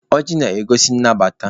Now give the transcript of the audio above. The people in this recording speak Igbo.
Ọjị na-egosi nnabata.